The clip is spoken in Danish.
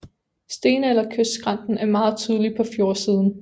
Stenalderkystskrænten er meget tydelig på fjordsiden